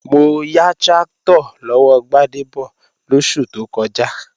Mo ya tráktọ̀ lọ́wọ́ Gbádébọ̀ lóṣù tó kọjá